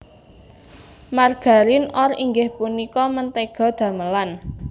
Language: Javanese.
Margarin or inggih punika mentéga damelan